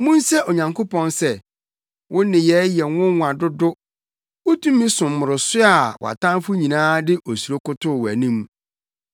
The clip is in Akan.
Munse Onyankopɔn sɛ, “Wo nneyɛe yɛ nwonwa dodo! Wo tumi so mmoroso a wʼatamfo nyinaa de osuro kotow wʼanim.